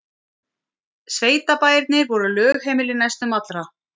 Sveitabæirnir voru lögheimili næstum allra.